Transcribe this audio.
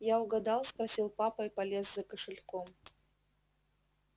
я угадал спросил папа и полез за кошельком